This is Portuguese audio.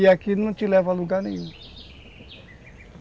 E aquilo não te leva a lugar nenhum.